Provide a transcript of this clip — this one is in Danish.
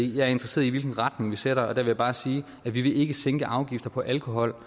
i jeg er interesseret i hvilken retning vi sætter og der vil jeg bare sige at vi ikke vil sænke afgifter på alkohol